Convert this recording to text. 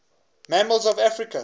mammals of africa